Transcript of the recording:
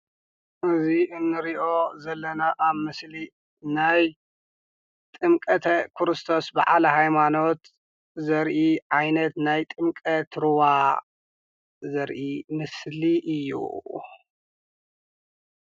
እዚ እንሪኦ ዘለና ኣብ ምስሊ ናይ ጥምቀተ ክርስቶስ በዓለ ሃይማኖት ዘርኢ ዓይነት ናይ ጥምቀት ሩባ ዘርኢ ምስሊ እዩ፡፡